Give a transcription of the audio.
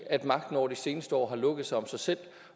magten over de seneste år har lukket sig om sig selv